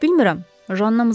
Bilmirəm, Janna mızıldadı.